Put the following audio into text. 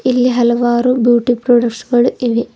ಇಲ್ಲಿ ಹಲವಾರು beauty products ಗಳು ಇವೆ.